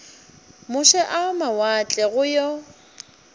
moše a mawatle go yo